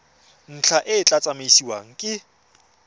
ntlha e tla tsamaisiwa ke